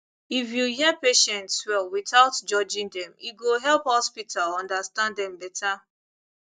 if you hear patients well without judging dem e go help hospital understand dem better